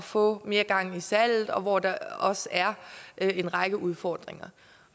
få mere gang i salget og hvor der også er en række udfordringer